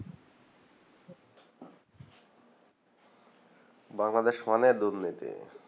বাংলাদেশ মানে দুর্নীতি